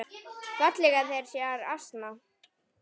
fallega þeir sér ansa.